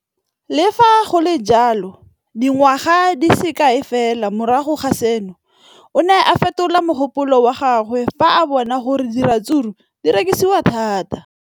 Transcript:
Le fa go le jalo, dingwaga di se kae fela morago ga seno, o ne a fetola mogopolo wa gagwe fa a bona gore diratsuru di rekisiwa thata.